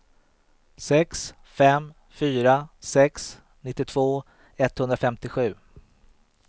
sex fem fyra sex nittiotvå etthundrafemtiosju